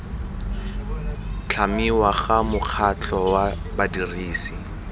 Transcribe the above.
tlhamiwa ga mokgatlho wa badirisi